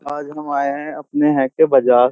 आज हम आये है अपने है के बाजार --